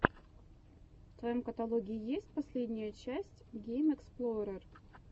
в твоем каталоге есть последняя часть геймэксплорер